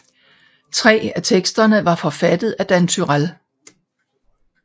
Tre af teksterne var forfattet af Dan Turèll